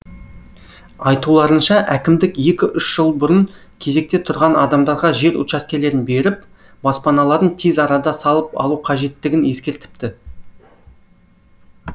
айтуларынша әкімдік екі үш жыл бұрын кезекте тұрған адамдарға жер учаскелерін беріп баспаналарын тез арада салып алу қажеттігін ескертіпті